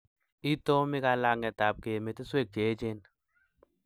Itomi kalang'etab keimeteswek che echen